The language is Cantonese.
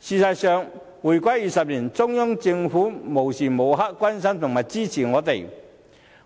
事實上，回歸20年，中央政府無時無刻都關心和支持我們，